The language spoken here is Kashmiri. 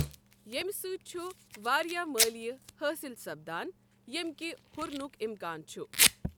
ییٚمہ سۭتۍ چھ وارِیاہ مٲلِیہ حاصِل سپدان ،ییمہِ كہِ ہُرنک اِمكان چھ۔